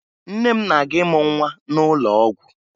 Nne m na-aga ịmụ nwa n'ụlọ ọgwụ